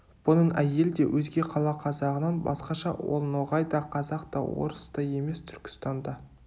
бұның әйелі де өзге қала қазағынан басқаша ол ноғай да қазақ та орыс та емес түркістанда